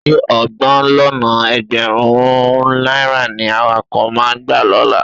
Ṣé ọgbọ̀n lọ́nà ẹgbẹ̀rún-ún náírà ni awakọ̀ máa gbà lọ́la?